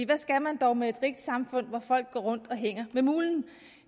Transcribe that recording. hvad skal man dog med et rigt samfund hvor folk går rundt og hænger med mulen